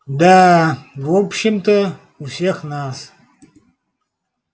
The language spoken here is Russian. да в общем-то у всех нас